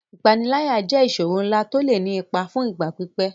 Ìpániláyà jẹ́ ìṣòro ńlá tó lè ní ipa fún ìgbà pípẹ́.